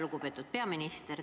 Lugupeetud peaminister!